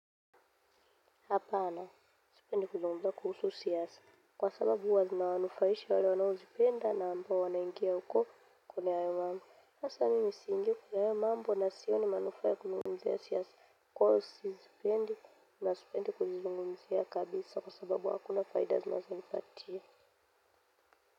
Hapana sipendi kuzungumza kuhusu siasa kwa sababu huwa zinawanufaisha wale wanaozipenda na ambao wanaingia huko kuona hayo mambo. Sasa mimi siingi kwa hayo mambo na sioni manufaa ya kuzungumzia siasa kwa hiyo sizipendi na sipendi kuzizungumzia kabisa kwa sababu hakuna faida zinazonipatia.